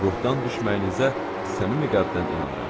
Ruhdan düşməyinizə səmimi qəlbdən inanıram.